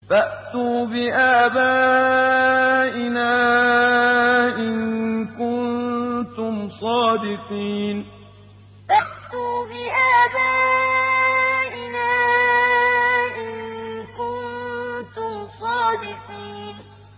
فَأْتُوا بِآبَائِنَا إِن كُنتُمْ صَادِقِينَ فَأْتُوا بِآبَائِنَا إِن كُنتُمْ صَادِقِينَ